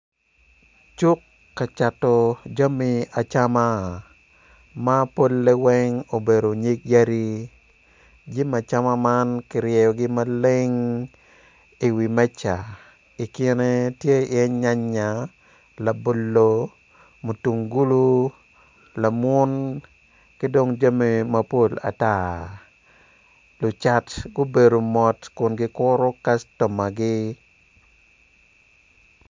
Cuk kacato jami acama ma polle weng obedo nyig yadi jami acama man kiryeyogi maleng i wimeja i kine tye iye nyanya labolo mutung gulu lamon ki dong jami mapol ata lucat gubedo mot kun gikuru kac tomagi.